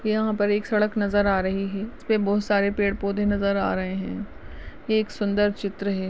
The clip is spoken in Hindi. यहाँ पर एक सड़क नजर आ रही है इसमे बहुत सारे पेड़ पौधे नजर आ रहे हेे एक सुन्दर चित्र है।